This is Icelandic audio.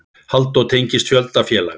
Halldór tengist fjölda félaga.